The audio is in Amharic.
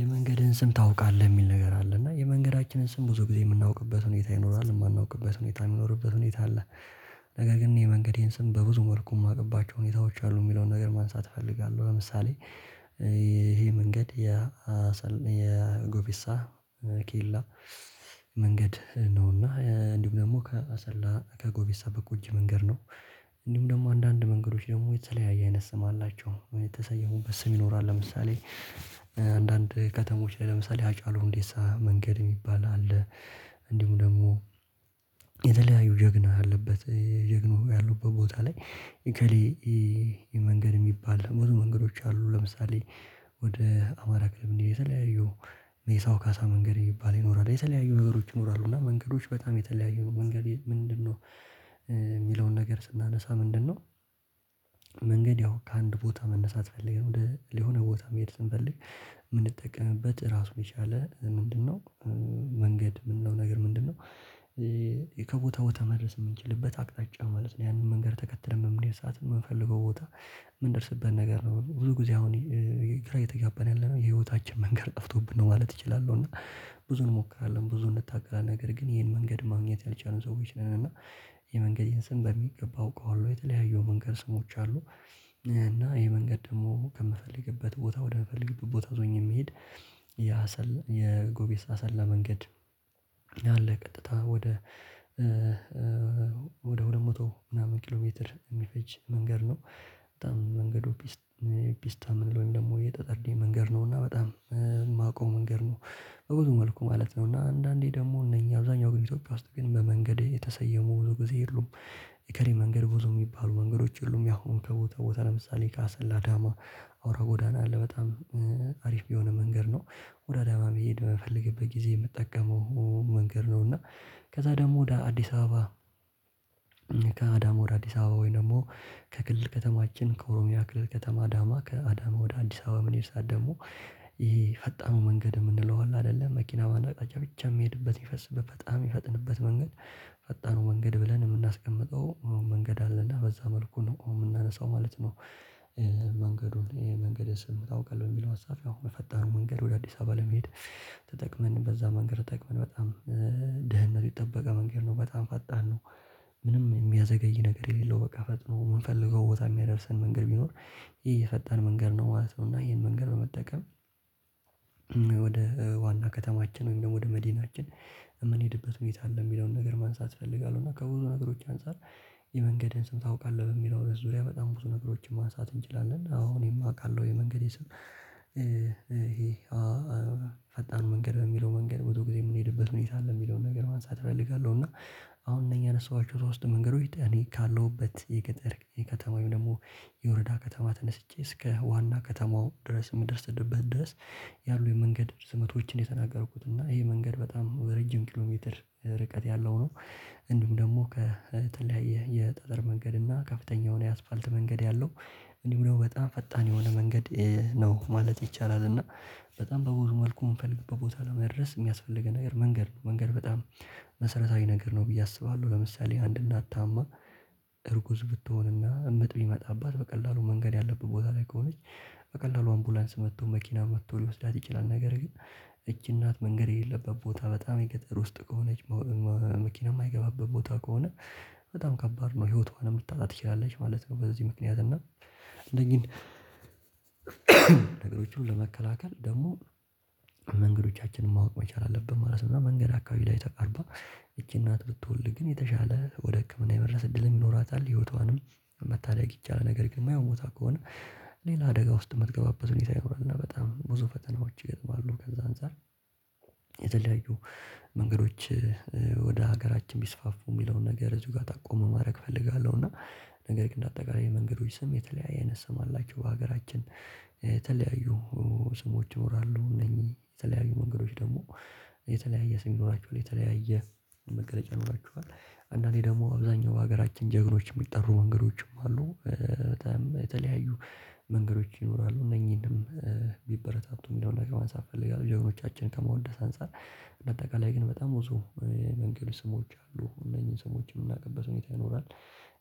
የመንገድህን ስም ታውቃለህ የሚል ነገር አለ እና የመንገዳችንን ስም ብዙ ጊዜ የምናውቅበት ሁኔታ ይኖራል የማናውቅበት ሁኔታ የሚኖርበት ሁኔታ አለ። ነገር ግን የመንገዴን ስም በብዙ መልኩ ማውቅባቸው ሁኔታዎች አሉ ሚለውን ነገር ማንሳት እፈልጋለሁ። ለምሳሌ ይሄ መንገድ የአሰል የጎቤሳ ኬላ መንገድ ነው እና እንዲሁም ደግሞ ከአሰላ ከጎቤሳ በቆጂ መንገድ ነው። እንዲሁም ደግሞ አንዳንድ መንገዶች ደግሞ የተለያየ አይነት ስም አላቸው የተሰየሙበት ስም ይኖራል። ለምሳሌ አንዳንድ ከተሞች ላይ ለምሳሌ ሀጫሉ ሁንዴሳ መንገድ እሚባል አለ። እንዲሁም ደግሞ የተለያዩ ጀግና ያለበት ጀግኖ ያሉበት ቦታ ላይ እከሌ የመንገድ እሚባል ብዙ መንገዶች አሉ። ለምሳሌ ወደ አማራ ክልል ብንሄድ የተለያዩ ሜሳው ካሳ መንገድ የሚባል ይኖራል የተለያዩ ነገሮች ይኖራሉ እና መንገዶች በጣም የተለያዩ መንገድ ምንድነው? የሚለውን ነገር ስናነሳ ምንድነው? መንገድ ያው ከአንድ ቦታ መነሳት ፈልገን ወደ ለሆነ ቦታ መሄድ ስንፈልግ ምንጠቀምበት እራሱን የቻለ ምንድነው? መንገድ ምንለው ነገር ምንድነው? ከቦታ ቦታ መድረስ ምንችልበት አቅጣጫ ማለት ነው ያንን መንገድ ተከትለን በምንሄድ ሰዓት ምንፈልገው ቦታ ምንደርስበት ነገር ነው። ብዙ ጊዜ አሁን ግራ እየተጋባን ያለነው የህይወታችን መንገድ ጠፍቶብን ነው ማለት እችላለሁ። እና ብዙ እንሞክራለን ብዙ እንታገላለን ነገር ግን ይሄን መንገድ ማግኘት ያልቻሉ ሰዎች ነን። እና የመንገዴን ስም በሚገባ አውቀዋለሁ የተለያዩ የመንገድ ስሞች አሉ። እና ይሄ መንገድ ደግሞ ከምፈልግበት ቦታ ወደምፈልግበት ቦታ ይዞኝ የሚሄድ የአሰላ የጎቤስ አሰላ መንገድ አለ ቀጥታ ወደ ወደ ሁለት መቶ ምናምን ኪሎ ሜትር እሚፈጅ መንገድ ነው። በጣም መንገዱ ቢስ ፒስታ ምንለው ወይም ደግሞ የጠጠርዴ መንገድ ነው እና በጣም እማውቀው መንገድ ነው። በብዙ መልኩ ማለት ነው እና አንዳንዴ ደግሞ እነኚህ አብዛኛው ግን ኢትዮጵያ ውስጥ ግን በመንገድ የተሰየሙ ብዙ ጊዜ የሉም የእከሌ መንገድ ብዙ ሚባሉ መንገዶች የሉም። ያሁኑ ከቦታ ቦታ ለምሳሌ ከአሰላ አዳማ አውራ ጎዳና አለ በጣም አሪፍ የሆነ መንገድ ነው። ወደ አዳማ መሄድ በምፈልግበት ጊዜ የምጠቀመው መንገድ ነው። እና ከዛ ደግሞ ወደ አዲስ አበባ ከአዳማ ወደ አዲስ አበባ ወይ ደግሞ ከክልል ከተማችን ከኦሮሚያ ክልል ከተማ አዳማ ከአዳማ ወደ አዲስ አበባ በምንሄድ ሰዓት ደግሞ ይሄ ፈጣኑ መንገድ የምንለው አለ አይደለ መኪና በአንድ አቅጣጭ ብቻ ሚሄድበት ሚፈስበት በጣም ሚፈጥንበት መንገድ ፈጣኑ መንገድ ብለን የምናስቀምጠው መንገድ አለ እና በዛ መልኩ ነው እምናነሳው ማለት ነው። መንገዱን ይሄ መንገድ ስም ታውቃለህ በሚለው ሀሳብ ያው በፈጣኑ መንገድ ወደ አዲስ አበባ ለመሄድ ተጠቅመን በዛ መንገድ ተጠቅመን በጣም ደህንነቱ የተጠበቀ መንገድ ነው በጣም ፈጣን ነው። ምንም የሚያዘገይ ነገር የሌለው በቃ ፈጥኖ ምንፈልገው ቦታ ሚያደርሰን መንገድ ቢኖር ይሄ የፈጣን መንገድ ነው ማለት ነው። እና ይሄን መንገድ በመጠቀም ወደ ዋና ከተማችን ወይም ደግሞ ወደ መዲናችን የምንሄድበት ሁኔታ አለ ሚለውን ነገር ማንሳት እፈልጋለሁ። እና ከብዙ ነገሮች አንፃር የመንገድህን ስም ታውቃለህ በሚለው ዙሪያ በጣም ብዙ ነገሮችን ማንሳት እንችላለን። አዎ እኔም አውቃለው የመንገዴን ስም? ፈጣኑ መንገድ በሚለው መንገድ ብዙ ጊዜ ምንሄድበት ሁኔታ አለ ሚለውን ነገር ማንሳት እፈልጋለሁ። እና አሁን እነኚህ ያነሳኋቸው ሶስት መንገዶች እኔ ካለሁበት የገጠር የከተማ ወይም ደግሞ የወረዳ ከተማ ተነስቼ እስከ ዋና ከተማው ድረስ ምደርስድበት ድረስ ያሉ የመንገድ ስመቶችን ነው የተናገርኩት እና ይሄ መንገድ በጣም በረጅም ኪሎ ሜትር ርቀት ያለው ነው። እንዲሁም ደግሞ ከተለያየ የጠጠር መንገድ እና ከፍተኛውን የአስፓልት መንገድ ያለው እንዲሁም ደግሞ በጣም ፈጣን የሆነ መንገድ ነው ማለት ይቻላል። እና በጣም በብዙ መልኩ ምንፈልግበት ቦታ ለመድረስ ሚያስፈልገን ነገር መንገድ ነው መንገድ በጣም መሰረታዊ ነገር ነው ብዬ አስባለሁ። ለምሳሌ አንድ እናት ታማ እርጉዝ ብትሆን እና ምጥ ቢመጣባት በቀላሉ መንገድ ያለበት ቦታ ላይ ከሆነች በቀላሉ አምቡላንስ መጥቶ መኪና መጥቶ ሊወስዳት ይችላል። ነገር ግን እቺ እናት መንገድ የሌለበት ቦታ በጣም የገጠር ውስጥ ከሆነች መ መ መኪና ማይገባበት ቦታ ከሆነ በጣም ከባድ ነው ህይወቷንም ልታጣ ትችላለች ማለት ነው። በዚህ ምክንያት እና እነኚህን ነገሮቹን ለመከላከል ደግሞ መንገዶቻችንን ማወቅ መቻል አለብን ማለት ነው። እና መንገድ አካባቢ ላይ ተቃርባ ይቺ እናት ብትወልድ ግን የተሻለ ወደ ህክምና የመድረስ እድልም ይኖራታል ህይወቷንም መታደግ ይቻላል። ነገር ግን ማይሆን ቦታ ከሆነ ሌላ አደጋ ውስጥ ምትገባበት ሁኔታ ይኖራል እና በጣም ብዙ ፈተናዎች ይገጥማሉ። ከዛ አንፃር የተለያዩ መንገዶች ወደ ሀገራችን ቢስፋፉ ሚለውን ነገር እዚው ጋር ጠቆም ማድረግ እፈልጋለሁ። እና ነገር ግን እንደ አጠቃላይ የመንገዶች ስም የተለያየ አይነት ስም አላቸው። በሀገራችን የተለያዩ ስሞች ይኖራሉ። እነኚህ የተለያዩ መንገዶች ደግሞ የተለያየ ስም ይኖራቸዋል። የተለያየ መገለጫ ይኖራቸዋል አንዳንዴ ደግሞ አብዛኛው በሀገራችን ጀግኖች የሚጠሩ መንገዶችም አሉ። በጣም የተለያዩ መንገዶች ይኖራሉ እነኚህንም ቢበረታቱ ሚለውን ነገር ማንሳት እፈልጋለሁ። ጀግኖቻችንን ከማወደስ አንፃር እንደ አጠቃላይ ግን በጣም ብዙ የመንገድ ስሞች አሉ። እነኚህን ስሞች የምናውቅበት ሁኔታ ይኖራል።